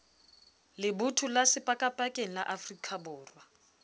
lebotho la sepakapakeng la afrikaborwa